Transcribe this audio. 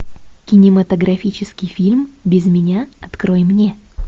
кинематографический фильм без меня открой мне